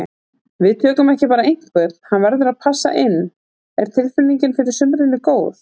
Við tökum ekki bara einhvern, hann verður að passa inn. Er tilfinningin fyrir sumrinu góð?